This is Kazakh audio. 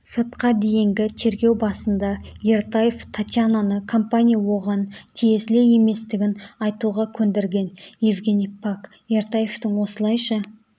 сотқа дейінгі тергеу басында ертаев татьянаны компания оған тиесілі еместігін айтуға көндірген евгений пак ертаевтың осылайша